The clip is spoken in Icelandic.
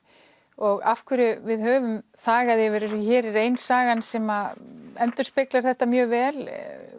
og af hverju við höfum þagað yfir þessu hér er ein sagan sem endurspeglar þetta mjög vel